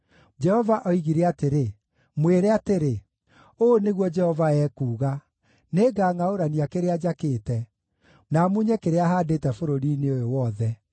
Jehova oigire atĩrĩ, “Mwĩre atĩrĩ: ‘Ũũ nĩguo Jehova ekuuga: Nĩngangʼaũrania kĩrĩa njakĩte, na munye kĩrĩa haandĩte bũrũri-inĩ ũyũ wothe.